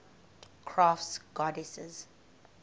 crafts goddesses